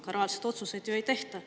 Aga reaalseid otsuseid ju ei tehta.